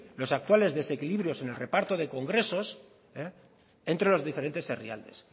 los actuales desequilibrios en el reparto de congresos entre los diferentes herrialdes